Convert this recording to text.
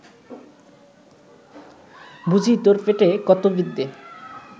বুজি তোর পেটে কত বিদ্যে